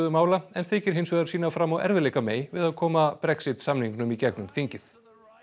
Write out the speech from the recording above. mála en þykir hins vegar sýna fram á erfiðleika við að koma Brexit samningnum í gegnum þingið